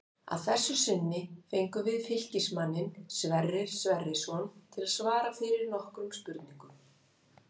Að þessu sinni fengum við Fylkismanninn Sverrir Sverrisson til að svara fyrir okkur nokkrum spurningum.